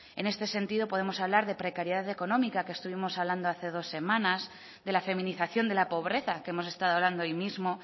en este sentido podemos hablar de precariedad económica que estuvimos hablando hace dos semanas de la feminización de la pobreza que hemos estado hablando hoy mismo